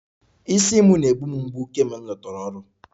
Isi m na-egbu m mgbu kemgbe m lọtara ọrụ